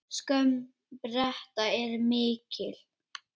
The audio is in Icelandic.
Skömm Breta er mikil.